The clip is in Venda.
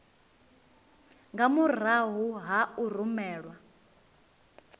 nga murahu ha u rumelwa